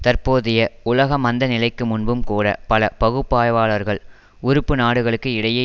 தற்போதைய உலக மந்த நிலைக்கு முன்பும் கூட பல பகுப்பாய்வாளர்கள் உறுப்புநாடுகளுக்கு இடையே